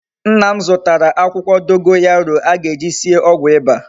Nna m zutara akwukwo dogoyaro a ga-eji sie ogwu iba